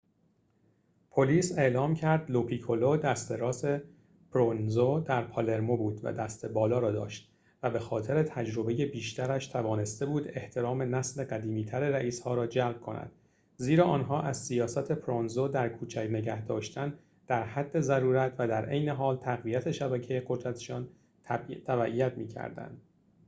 پلیس اعلام کرد لوپیکولو دست راست پروونزو در پالرمو بود و دست بالا را داشت و به خاطر تجربه بیشترش توانسته بود احترام نسل قدیمی‌تر رئیس‌ها را جلب کند زیرا آنها از سیاست پروونزو در کوچک نگه‌داشتن در حد ضرورت و در عین حال تقویت شبکه قدرت‌شان تبعیت می‌کردند